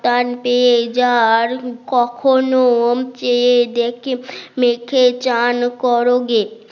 টান পেয়ে যার কখনো চেয়ে দেখে মেখে চান করোগে